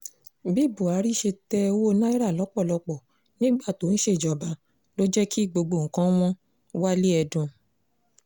bí buhari ṣe tẹ owó naira lọ́pọ̀lọpọ̀ nígbà tó ń ṣèjọba ló jẹ́ kí gbogbo nǹkan wọn-wale èdùn